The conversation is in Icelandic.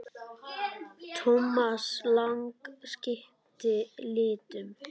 Thomas Lang skipti litum.